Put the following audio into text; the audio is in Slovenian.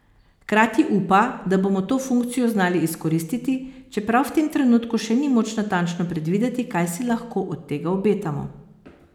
Hkrati upa, da bomo to funkcijo znali izkoristiti, čeprav v tem trenutku še ni moč natančno predvideti, kaj si lahko od tega obetamo.